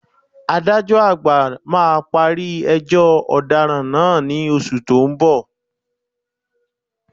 Adájọ́ àgbà máa parí ẹjọ́ ọ̀daràn náà ní oṣù tó ń bọ̀